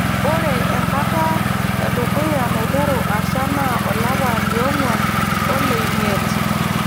Ore enkata edukuya naiteru asha naa olapa lioong'uan olemiet.